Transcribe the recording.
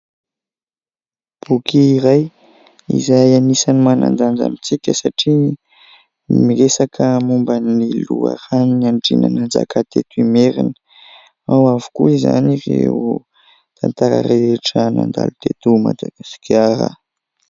Boky iray izay anisany manan-danja mihitsy ka satria miresaka momba ny loharanon'ny Andriana Nanjaka teto Imerina. Ao avokoa izany ireo tantara rehetra nandalo teto Madagasikara.